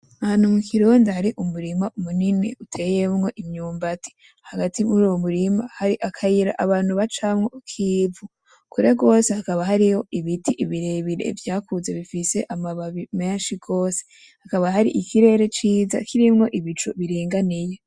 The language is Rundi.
Ahantu mu kironda hari umurima uteyemwo imyumbati . Hagati muruwo murima hari akayira abantu bacamwo k'ivu. Kure gose hakaba hariho ibiti birebire vyakuze bifise amababi menshi gose. Hakaba hari ikirere ciza kirimwo ibicu biringaniye.